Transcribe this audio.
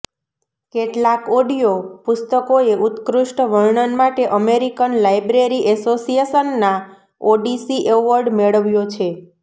કેટલાક ઓડિઓ પુસ્તકોએ ઉત્કૃષ્ટ વર્ણન માટે અમેરિકન લાઇબ્રેરી એસોસિએશનના ઓડિસી એવોર્ડ મેળવ્યો છે